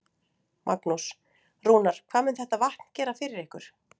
Magnús: Rúnar, hvað mun þetta vatn gera fyrir ykkur?